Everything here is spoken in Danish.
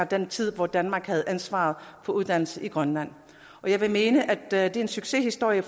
den tid hvor danmark havde ansvaret for uddannelse i grønland og jeg vil mene at det er en succeshistorie i